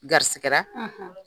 Garisi kɛra